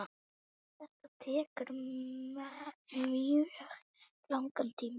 Þetta tekur mjög langan tíma.